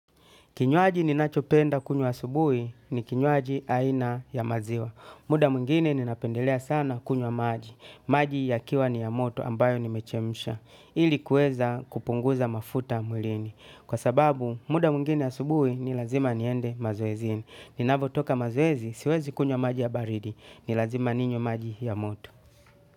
Kinywaji ninachopenda kunywa asubuhi ni kinywaji aina ya maziwa. Muda mwingine ninapendelea sana kunywa maji. Maji yakiwa ni ya moto ambayo nimechemsha. Ili kueza kupunguza mafuta mwilini. Kwa sababu, muda mwingine asubuhi ni lazima niende mazoezini. Ninavotoka mazoezi, siwezi kunywa maji ya baridi. Ni lazima ninywe maji ya moto.